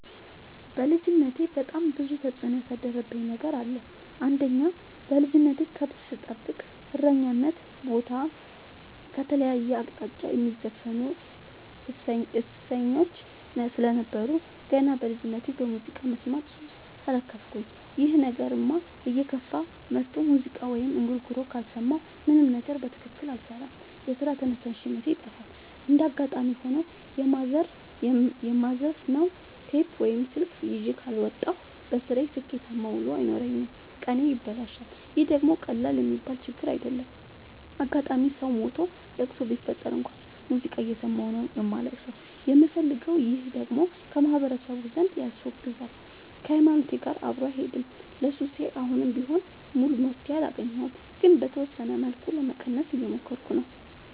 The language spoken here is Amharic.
በልጅነቴ በጣም ብዙ ተጽዕኖ ያሳደረብኝ ነገር አለ። አንደኛ በልጅነቴ ከብት ስጠብቅ እረኝነት ቦታ ከተለያየ አቅጣጫ የሚዘፍኑ እሰኞች ስለነበሩ። ገና በልጅነቴ በሙዚቃ መስማት ሱስ ተለከፍኩኝ ይህ ነገርም እየከፋ መጥቶ ሙዚቃ ወይም እንጉርጉሮ ካልሰማሁ ምንም ነገር በትክክል አልሰራም የስራ ተነሳሽነቴ ይጠፋል። እንደጋጣሚ ሆኖ የማዘፍ ነው ቴፕ ወይም ስልክ ይዤ ካልወጣሁ። በስራዬ ስኬታማ ውሎ አይኖረኝም ቀኔ ይበላሻል ይህ ደግሞ ቀላል የሚባል ችግር አይደለም። አጋጣም ሰው ሞቶ ለቅሶ ቢፈጠር እንኳን ሙዚቃ እየሰማሁ ነው ማልቀስ የምፈልገው ይህ ደግሞ በማህበረሰቡ ዘንድ ያስወግዛል። ከሀይማኖቴም ጋር አብሮ አይሄድም። ለሱሴ አሁንም ቢሆን ሙሉ መፍትሔ አላገኘሁም ግን በተወሰነ መልኩ ለመቀነስ እየሞከርኩ ነው።